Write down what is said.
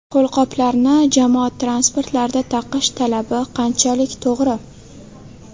Qo‘lqoplarni jamoat transportlarida taqish talabi qanchalik to‘g‘ri?